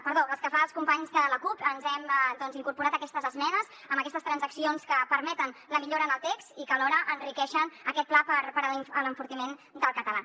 perdó pel que fa als companys de la cup hem incorporat aquestes esmenes amb aquestes transaccions que permeten la millora en el text i que alhora enriqueixen aquest pla per a l’enfortiment del català